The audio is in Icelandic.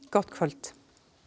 gott kvöld